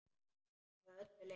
Að öllu leyti.